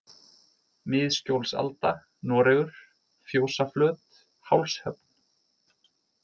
Miðskjólsalda, Noregur, Fjósaflöt, Hálshöfn